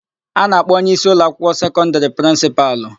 A na-akpọ onyeisi ụlọakwụkwọ sekọndịrị prịnsịpalụ.